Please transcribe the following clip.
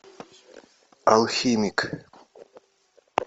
алхимик